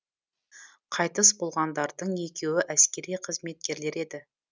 қайтыс болғандардың екеуі әскери қызметкерлер еді